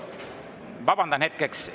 Vabandan hetkeks.